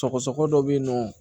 Sɔgɔsɔgɔ ko dɔ bɛ yen nɔ